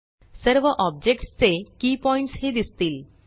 सर्व आब्जेक्ट्स चे key points ही दिसतील